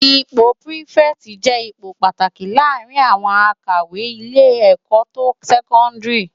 Ipò pirifèti jè ipó pàtáki làárin áwòn ákòwé ilé èkò to sèkòndiri